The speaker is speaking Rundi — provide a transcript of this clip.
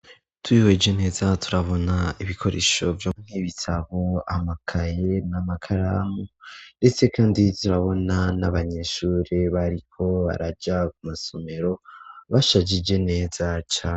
Twihweje neza turabona ibikoresho vyo mw'ibitabo amakaye n'amakaramu ndetse kandi turabona n'abanyeshure bariko baraja ku masomero bashajije neza cane.